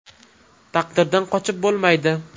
Taqdirdan qochib bo‘lmaydi.